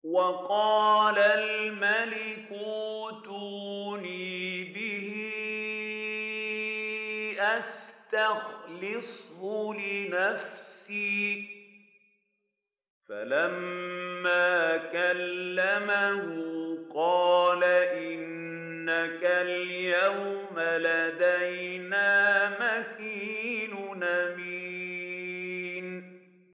وَقَالَ الْمَلِكُ ائْتُونِي بِهِ أَسْتَخْلِصْهُ لِنَفْسِي ۖ فَلَمَّا كَلَّمَهُ قَالَ إِنَّكَ الْيَوْمَ لَدَيْنَا مَكِينٌ أَمِينٌ